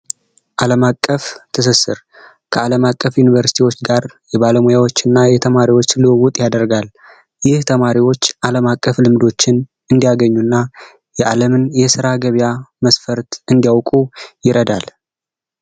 አለም። አቀፍ ትስስር ከአለም አቀፍ ዩኒቨርሲቲዎች ጋር የባለሙያዎች እና የተማሪዎች ልውውጥ ያደርጋል። ይህ ተማሪዎች አለም አቀፍ ልምዶችን እንዲያገኙ እና የአለምን የስራ ገበያ መስፈርት እንዲያውቁ ይረዳናል።